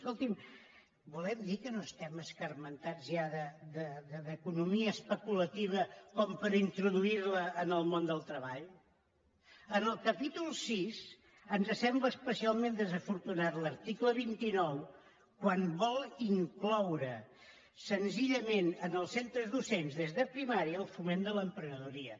escolti’m volen dir que no estem escarmentats ja d’economia especulativa per introduir la en el món del treball en el capítol vi ens sembla especialment desafortunat l’article vint nou quan vol incloure senzillament en els centres docents des de primària el foment de l’emprenedoria